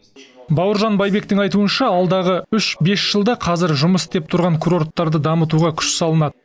бауыржан байбектің айтуынша алдағы үш бес жылда қазір жұмыс істеп тұрған курорттарды дамытуға күш салынады